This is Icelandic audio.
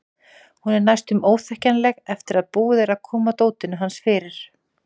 Hún er næstum óþekkjanleg eftir að búið er að koma dótinu hans fyrir.